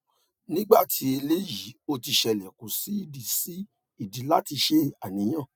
ni gbati eleyi oti sele ko si idi si idi lati se aniyan